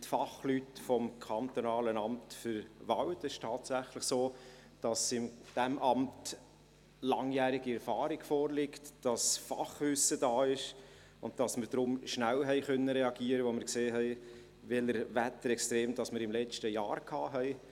Es ist tatsächlich so, dass in diesem Amt langjährige Erfahrung vorliegt, dass Fachwissen da ist, und dass wir deshalb schnell reagieren konnten, als wir sahen, welche Wetterextreme wir letztes Jahr hatten.